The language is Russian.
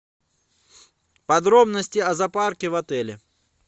подробности о запарке в отеле